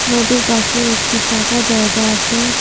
নদীর পাশে একটি ফাঁকা জায়গা আছে।